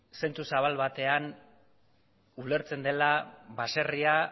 zentzu zabal batean ulertzen dela baserria